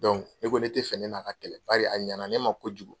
ne ko ne tɛ fɛ ne n'a ka kɛlɛ bari a ɲɛna ne ma kojugu.